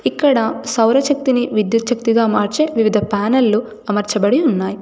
ఇక్కడ సౌరచక్తిని విద్యుత్చక్తిగా మార్చే వివిధ ప్యానెళ్ళు అమర్చబడి ఉన్నాయ్.